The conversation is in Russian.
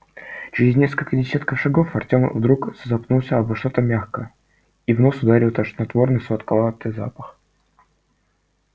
через несколько десятков шагов артём вдруг запнулся обо что-то мягкое и в нос ударил тошнотворный сладковатый запах